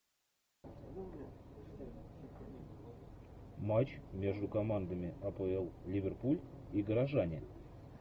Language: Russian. матч между командами апл ливерпуль и горожане